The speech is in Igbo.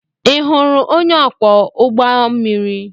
Ị hụrụ onye ọkwọ ụgbọ mmiri?